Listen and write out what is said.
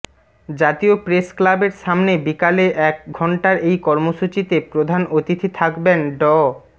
জাতীয় প্রেসক্লাবের সামনে বিকালে এক ঘণ্টার এই কর্মসূচিতে প্রধান অতিথি থাকবেন ড